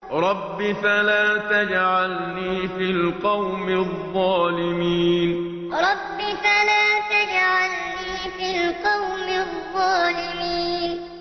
رَبِّ فَلَا تَجْعَلْنِي فِي الْقَوْمِ الظَّالِمِينَ رَبِّ فَلَا تَجْعَلْنِي فِي الْقَوْمِ الظَّالِمِينَ